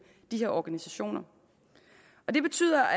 de her organisationer og det betyder